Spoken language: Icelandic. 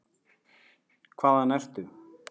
Hvaðan ertu?